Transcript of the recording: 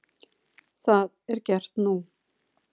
Það er gert nú.